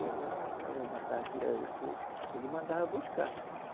Eu ma, eu matava pirarucu, ele mandava buscar.